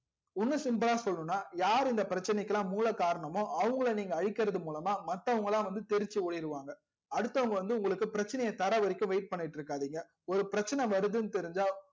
இன்னும் simple லா சொல்லனும்னா யாரு இந்த பிரச்சனைகிலாம் மூல காரணமோ அவங்கல நீங்க அளிகர்த்து மூலமா மத்தவங்கலாம் தெரிச்சி ஓடிருவாங்க அடுத்தவங்க உங்களுக்கு பிரச்சனைய தரவரைக்கும் wait பண்ணிட்டு இருகாதிங்க ஒரு பிரச்சன வரதுன்னு தெரிஞ்சா